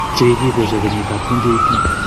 Chekikipesio keyit ab 2018.